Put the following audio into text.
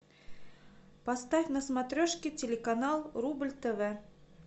поставь на смотрешке телеканал рубль тв